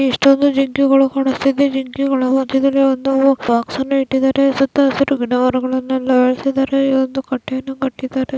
ಎಷ್ಟೊಂದು ಜಿಂಕೆಗಳು ಕಾಣ್ಸ್ತಿದೆ. ಜಿಂಕೆಗಳು ಮಧ್ಯದಲ್ಲಿ ಒಂದು ಬಾಕ್ಸ್ ಅನ್ನು ಇಟ್ಟಿದ್ದಾರೆ. ಸುತ್ತ ಹಸುರು ಗಿಡ ಮರಗಳನೆಲ್ಲ ಬೆಳೆಸಿದ್ದಾರೆ. ಇದೊಂದು ಕಟ್ಟೆಯನ್ನು ಕಟ್ಟಿದ್ದಾರೆ.